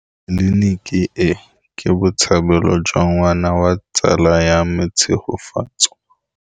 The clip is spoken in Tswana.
Tleliniki e, ke botsalêlô jwa ngwana wa tsala ya me Tshegofatso.